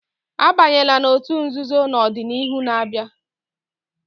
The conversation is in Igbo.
Abanyela n'otú nzuzo na ọdịnihu na-abịa!